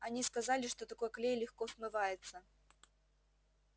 они сказали что такой клей легко смывается